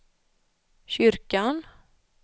kyrkan